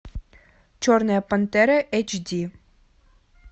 черная пантера эйч ди